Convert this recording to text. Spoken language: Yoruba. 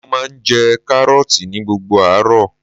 Mo máa ń jẹ Kárọ́ọ̀tì ní gbogbo àárọ̀.